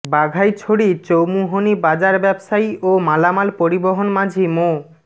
বাঘাইছড়ি চৌমুহনী বাজার ব্যবসায়ী ও মালামাল পরিবহন মাঝি মো